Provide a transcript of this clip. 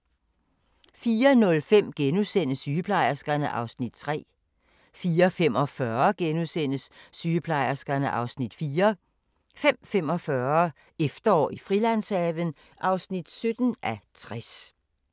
04:05: Sygeplejerskerne (Afs. 3)* 04:45: Sygeplejerskerne (Afs. 4)* 05:45: Efterår i Frilandshaven (17:60)